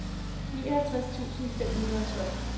nioghalvtreds tusind fem hundrede og tolv